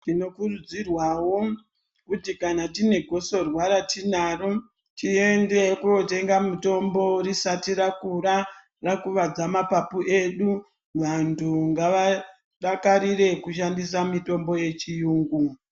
Tinokurudzirwawo kuti kana tine gosorwa ratiinaro tiende kotenga mutombo risati rakura, rakuvadza mapapu edu. Vantu ngavadakarire kushandisa mitombo yechiyungu.